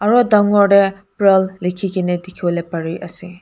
aro dangor te pearl likhi kene dikhiwole pare ase.